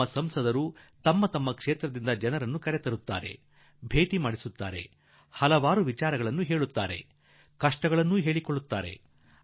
ನಮ್ಮ ಸಂಸದರು ಕೂಡಾ ತಮ್ಮ ತಮ್ಮ ಕ್ಷೇತ್ರಗಳಿಂದ ಜನರನ್ನು ಕರೆತರುವರು ಭೇಟಿ ಮಾಡಿಸುವರು ಸಂಗತಿಯನ್ನು ತಿಳಿಸುವರು ತಮ್ಮ ಕಷ್ಟವನ್ನು ಹೇಳಿಕೊಳ್ಳುವರು